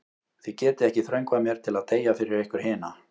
Þið getið ekki þröngvað mér til að deyja fyrir ykkur hina.